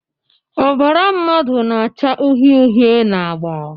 Ọbara mmadụ na-acha uhie uhie na agba